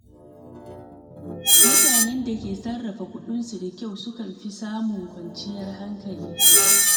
Mutane da ke sarrafa kuɗinsu da kyau sukan fi samun kwanciyar hankali.